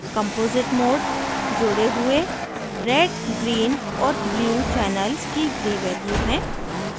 composite mode mode हुए red green और blue channels की gray value है